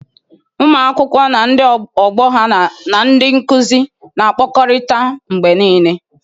Ụmụ akwụkwọ na ndị ọgbọ ha na ndị nkuzi na-akpakọrịta mgbe niile.